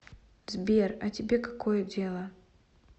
сбер а тебе какое дело